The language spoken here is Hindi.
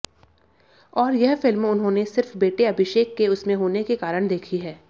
और यह फिल्म उन्होंने सिर्फ बेटे अभिषेक के उसमें होने के कारण देखी है